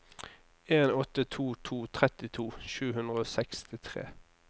en åtte to to trettito sju hundre og sekstitre